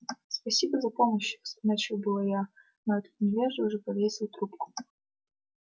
спасибо за помощь начала было я но этот невежа уже повесил трубку